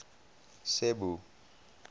cebu